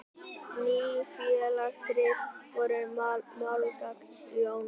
Ný félagsrit voru málgagn Jóns.